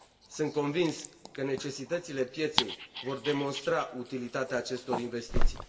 Sunt convins că necesitățile pieței vor demonstra utilitatea acestor investiții.